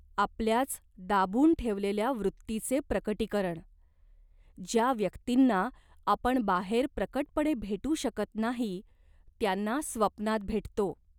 आपल्याच दाबून ठेवलेल्या वृत्तीचे प्रकटीकरण. ज्या व्यक्तींना आपण बाहेर प्रकटपणे भेटू शकत नाही त्यांना स्वप्नात भेटतो.